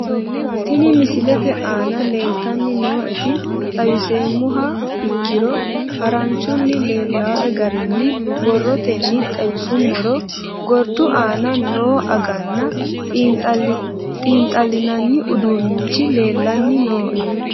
Tinni misete aana leltani nooeti xawiseemoha ikkiro haranchunni leelawoe garinni borootenni xawisumorro gordu aana noo aganna xinxaalinanni uduunichi leelani nooe